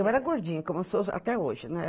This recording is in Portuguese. Eu era gordinha, como eu sou até hoje, né?